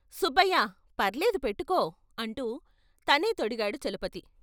' సుబ్బయ్యా పర్లేదు పెట్టుకో ' అంటూ తనే తొడిగాడు చలపతి.